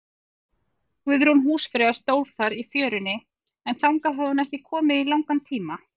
Guðrún húsfreyja stóð þar í fjörunni, en þangað hafði hún ekki komið í langan tíma.